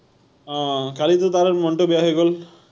আহ কালিতো তাৰো মনটো বেয়া হৈ গল